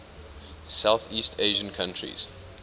southeast asian countries